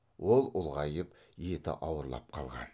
ол ұлғайып еті ауырлап қалған